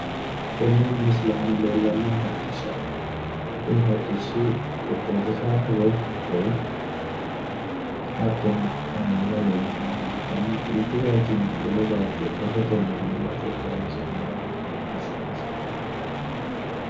tenne misile aana leellannohu hodhishshaho kuni hodhishshi xexxerisaho woyi motore hattono kaameela leellishannoha ikkanna mittu bayiichinni wole bayiicho rahotenni iillate horonsi'nanni hodhishshaati?